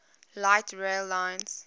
light rail lines